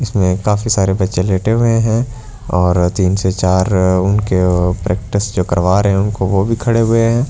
इसमें काफी सारे बच्चे लेटे हुए हैं और तीन से चार उनके प्रैक्टिस जो करवा रहे हैं उनको वो भी खड़े हुए हैं।